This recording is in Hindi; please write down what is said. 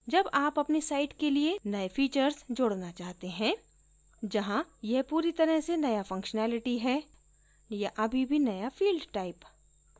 जब आप आपनी site के लिए नए फीचर्स जोडना चाहते हैं जहाँ यह पूरी तरह से नया functionality है या अभी भी नया field type